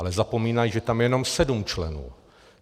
Ale zapomínají, že tam je jenom sedm členů.